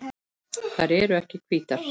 Þær eru hvítar.